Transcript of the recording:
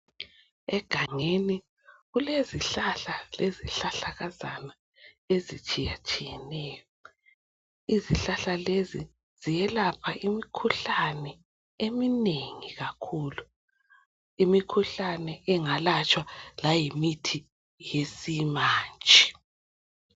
Egangeni kulezihlahla lezihlahlakazana ezitshiyatshiyeneyo. izihlahla lezi ziyelapha imikhuhlane eminengi kakhulu. Imikhuhlane engalatshwa layimithi yesimanje.